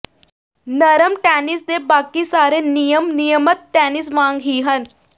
ਨਰਮ ਟੈਨਿਸ ਦੇ ਬਾਕੀ ਸਾਰੇ ਨਿਯਮ ਨਿਯਮਤ ਟੈਨਿਸ ਵਾਂਗ ਹੀ ਹਨ